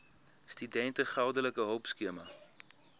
studente geldelike hulpskema